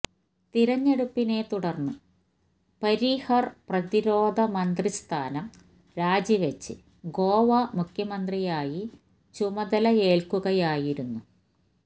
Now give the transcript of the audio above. തിരഞ്ഞെടുപ്പിനെ തുടര്ന്ന് പരീഖര് പ്രതിരോധ മന്ത്രി സ്ഥാനം രാജി വച്ച് ഗോവ മുഖ്യമന്ത്രിയായി ചുമതലയേല്ക്കുകയായിരുന്നു